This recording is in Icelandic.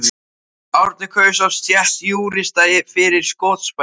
Árni kaus oft stétt júrista fyrir skotspæni.